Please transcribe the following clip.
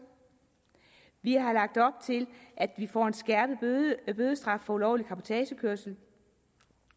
vi har lagt op til at vi får en skærpet bødestraf for ulovlig cabotagekørsel